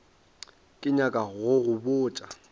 ke nyaka go go botša